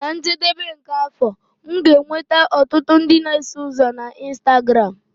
Na njedebe nke afọ, m ga-enweta ọtụtụ ndị na-eso ụzọ na Instagramu.